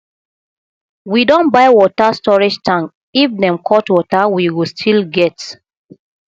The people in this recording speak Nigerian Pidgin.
we don buy water storage tank if dem cut water we go still get